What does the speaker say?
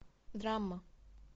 драма